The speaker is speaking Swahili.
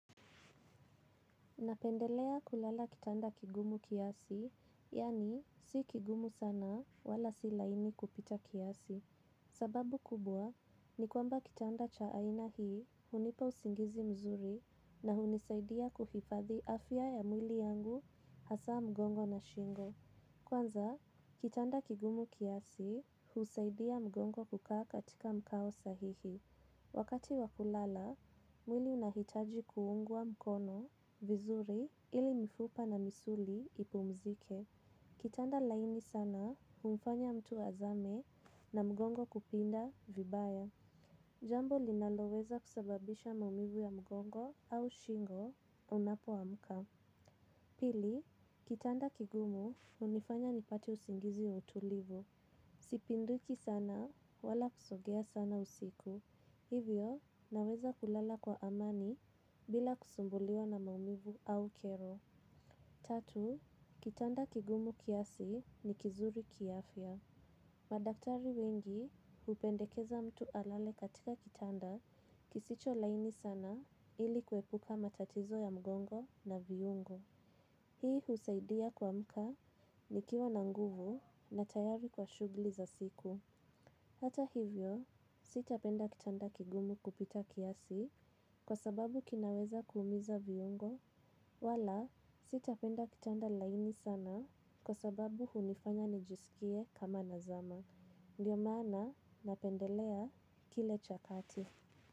Napendelea kulala kitanda kigumu kiasi yaani si kigumu sana wala si laini kupita kiasi. Sababu kubwa ni kwamba kitanda cha aina hii hunipa usingizi mzuri na hunisaidia kuhifadhi afya ya mwili yangu hasa mgongo na shingo. Kwanza, kitanda kigumu kiasi husaidia mgongo kukaa katika mkao sahihi. Wakati wa kulala mwili inahitaji kuungwa mkono vizuri ili mifupa na misuli ipumzike. Kitanda laini sana, humfanya mtu azame na mgongo kupinda vibaya. Jambo linaloweza kusababisha maumivu ya mgongo au shingo unapoamka. Pili kitanda kigumu hunifanya nipate usingizi mtulivu. Sipinduki sana, wala kusogea sana usiku. Hivyo naweza kulala kwa amani bila kusumbuliwa na maumivu au kero. Tatu, kitanda kigumu kiasi ni kizuri kiafya. Madaktari wengi hupendekeza mtu alale katika kitanda kisicho laini sana ili kuepuka matatizo ya mgongo na viungo. Hii husaidia kuamka ni kiwa nanguvu na tayari kwa shughli za siku. Hata hivyo, sitapenda kitanda kigumu kupita kiasi, kwa sababu kinaweza kuuumiza viungo, wala sitapenda kitanda laini sana, kwa sababu hunifanya nijisikie kama nazama. Ndiyo maana, napendelea kile chakati.